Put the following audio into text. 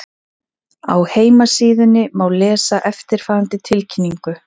Á heimasíðunni má lesa eftirfarandi tilkynningu